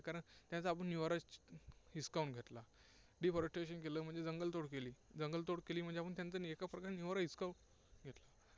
कारण त्यांचा आपण निवारा हिसकावून घेतला. deforestation केलं, म्हणजे जंगलतोड केली, जंगलतोड केली म्हणजे आपण त्यांचा एकाप्रकारे निवारा हिसकावून घेतला.